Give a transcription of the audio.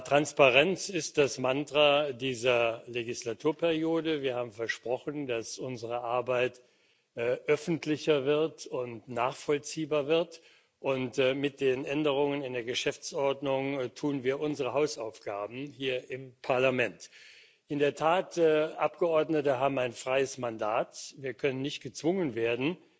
Transparenz ist das Mantra dieser Wahlperiode. Wir haben versprochen, dass unsere Arbeit öffentlicher und nachvollziehbar wird, und mit den Änderungen in der Geschäftsordnung tun wir unsere Hausaufgaben hier im Parlament. In der Tat Abgeordnete haben ein freies Mandat, wir können nicht gezwungen werden,